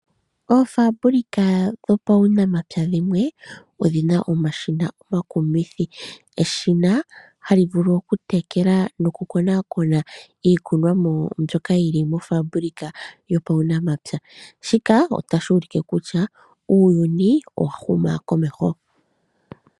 Oofambulika dhopaunamapya dhimwe odhina omashina omakumithi eshina halivulu okutekela nokukonakona iikunwamo mbyoka yili moofambulika yopaunamapya ,shika otashulike kutya uuyuni wahuma komeho.